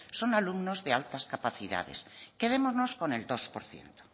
son alumnos de altas capacidades quedémonos con el dos por ciento